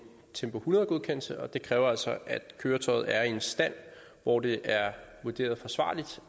tempo hundrede godkendelse og det kræver altså at køretøjet er i en stand hvor det er vurderet forsvarligt